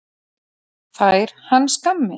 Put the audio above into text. Fær hann skammir?